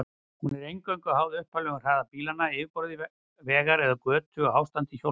Hún er eingöngu háð upphaflegum hraða bílanna, yfirborði vegar eða götu og ástandi hjólbarða.